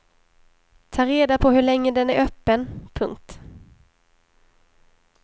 Ta reda på hur länge den är öppen. punkt